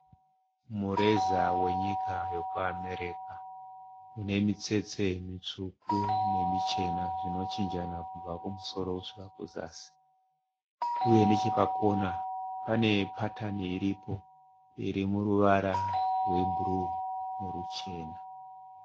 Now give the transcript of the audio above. Mureza wenyika yekuAmerica. Une mitsetse mitsvuku nemichena zvinochinjana kubva kumusoro kusvika kuzasi. Uye, nechepakona pane patani iripo iri muruvara rwebhuru noruchena.